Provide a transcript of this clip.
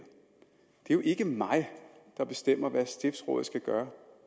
det er jo ikke mig der bestemmer hvad stiftsrådet skal gøre